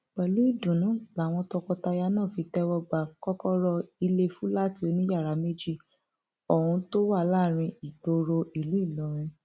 pẹlú ìdùnnú làwọn tọkọtaya náà fi tẹwọ gba kọkọrọ ilé fúláàtì oníyàrá méjì ohun tó wà láàrin ìgboro ìlú ìlọrin